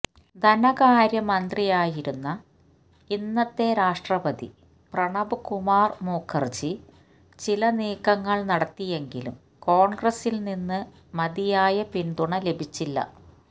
ധനകാര്യമന്ത്രിയായിരുന്ന ഇന്നത്തെ രാഷ്ട്രപതി പ്രണബ്കുമാര് മുഖര്ജി ചില നീക്കങ്ങള് നടത്തിയെങ്കിലും കോണ്ഗ്രസ്സില്നിന്ന് മതിയായ പിന്തുണ ലഭിച്ചില്ല